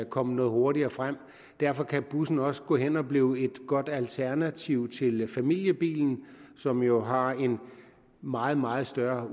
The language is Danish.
komme noget hurtigere frem derfor kan bussen også gå hen og blive et godt alternativ til familiebilen som jo har en meget meget større